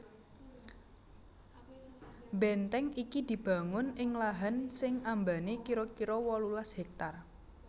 Bèntèng iki dibangun ing lahan sing ambané kira kira wolulas hèktar